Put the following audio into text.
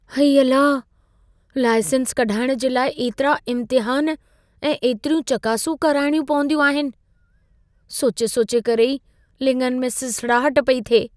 अई अला! लाइसेंस कढाइणु जे लाइ एतिरा इम्तिहान ऐं एतिरियूं चकासूं कराणियूं पवंदियूं आहिनि। सोचे सोचे करे ई लिङनि में सिसड़ाहट पेई थिए।